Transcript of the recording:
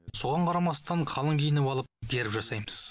соған қарамастан қалың киініп алып герб жасаймыз